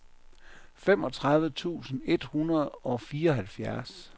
femogtredive tusind et hundrede og fireoghalvfjerds